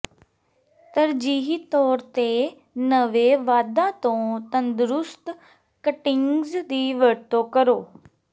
ਤਰਜੀਹੀ ਤੌਰ ਤੇ ਨਵੇਂ ਵਾਧਾ ਤੋਂ ਤੰਦਰੁਸਤ ਕਟਿੰਗਜ਼ ਦੀ ਵਰਤੋਂ ਕਰੋ